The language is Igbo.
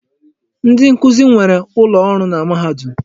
Ndi nkuzi nwere ụlọ ọrụ na mahadum.